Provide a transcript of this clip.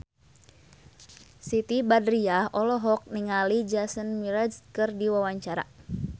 Siti Badriah olohok ningali Jason Mraz keur diwawancara